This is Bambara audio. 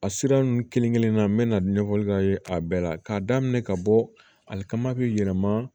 A sira ninnu kelen-kelen na n be na a bɛɛ la k'a daminɛ ka bɔ hali ka ma yɛlɛma